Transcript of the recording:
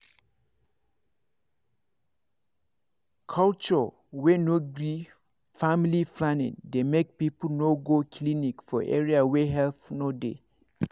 culture wey no gree family planning dey make people no go clinic for area wey help no dey